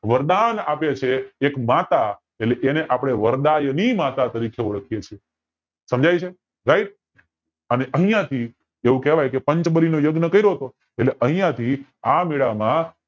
વરદાન આપે છે એક માતા એટલે અપડે વરદાયની માતા તરીકે ઓળખવી છીએ સમજાય છે right અને અન્ય થી પંચબલી નો યજ્ઞ કર્યો તો એટલે અહિયાંથી આ મેળા માં